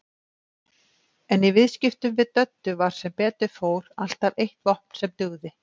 En í viðskiptum við Döddu var sem betur fór alltaf eitt vopn sem dugði.